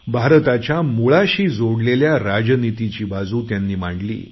भारताच्या मुळाशी जोडलेल्या राजानितीची बाजू त्यांनी मांडली